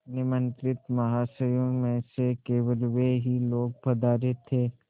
निमंत्रित महाशयों में से केवल वे ही लोग पधारे थे